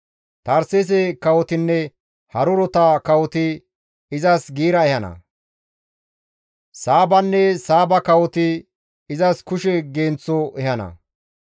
Tarseese kawotinne harurota kawoti izas giira ehana. Saabanne Saaba kawoti izas kushe genththo ehana.